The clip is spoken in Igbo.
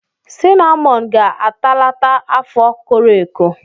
Sinamọn ga-atalata afọ koro eko.